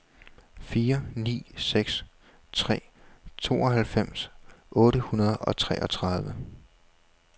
fire ni seks tre tooghalvfems otte hundrede og treogtredive